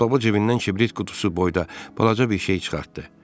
Baba cibindən kibrit qutusu boyda balaca bir şey çıxartdı.